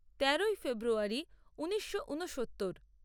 তেরোই ফেব্রুয়ারী ঊনিশো ঊনসত্তর